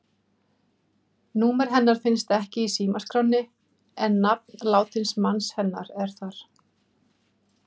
Númer hennar finnst ekki í símaskránni, en nafn látins manns hennar er þar.